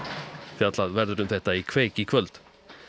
fjallað verður um þetta í kveik í kvöld